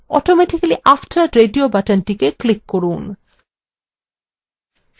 automatically after radio বাটনটিকে click করুন